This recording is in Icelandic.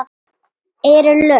Eru lög.